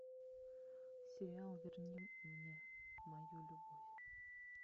сериал верни мне мою любовь